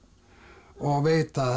og veit að